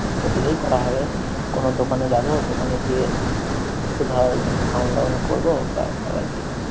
করলেই করা হবে, কোনো দোকানে যাবো দোকানে গিয়ে একটু ধর খাওন-দায়ন করব ব্যাস, আবার কি!